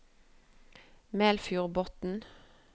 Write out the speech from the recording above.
Melfjordbotn